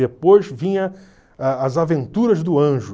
Depois vinha a As Aventuras do Anjo.